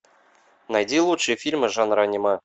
найди лучшие фильмы жанра аниме